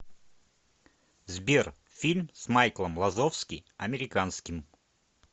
сбер фильм с майклом лазовски американским